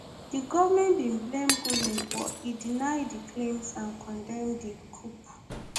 di goment bin blame gulen but e deny di claims and condemn di coup